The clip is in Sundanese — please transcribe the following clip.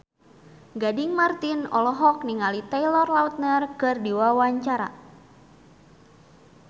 Gading Marten olohok ningali Taylor Lautner keur diwawancara